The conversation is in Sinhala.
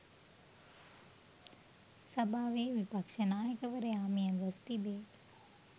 සභාවේ විපක්ෂ නායකවරයා මියගොස් තිබේ.